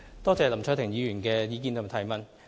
多謝林卓廷議員的意見及質詢。